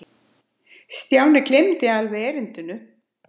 Stjáni gleymdi alveg erindinu.